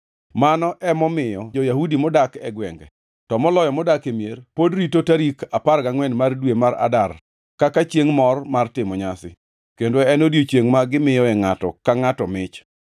Mano ema omiyo jo-Yahudi modak e gwenge to moloyo modak e mier pod rito tarik apar gangʼwen mar dwe mar Adar kaka chiengʼ mor mar timo nyasi, kendo en odiechiengʼ ma gimiyoe ngʼato ka ngʼato mich.